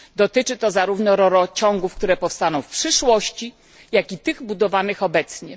Dotyczy to zarówno rurociągów, które powstaną w przyszłości, jak i tych budowanych obecnie.